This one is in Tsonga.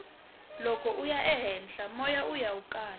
loko uya ehenhla moya wuya wu kala